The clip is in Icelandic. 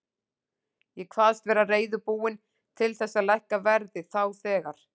Ég kvaðst vera reiðubúinn til þess að lækka verðið þá þegar.